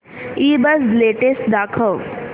ईबझ लेटेस्ट दाखव